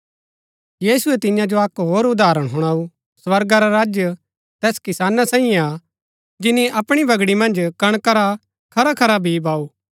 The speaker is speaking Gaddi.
यीशुऐ तियां जो अक्क होर उदाहरण हुणाऊ स्वर्गा रा राज्य तैस किसाना साईये हा जिनी अपणी बगड़ी मन्ज कणका रा खरा खरा बी बाऊ